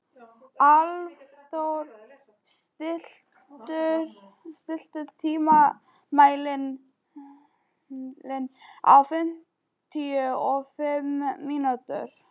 Álfþór, stilltu tímamælinn á fimmtíu og fimm mínútur.